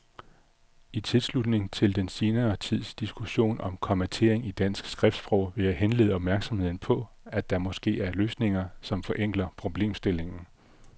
I tilslutning til den senere tids diskussion om kommatering i dansk skriftsprog vil jeg henlede opmærksomheden på, at der måske er løsninger, som forenkler problemstillingen.